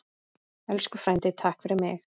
Elsku frændi, takk fyrir mig.